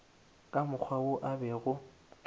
ka mokgwa wo a bego